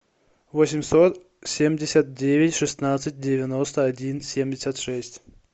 восемьсот семьдесят девять шестнадцать девяносто один семьдесят шесть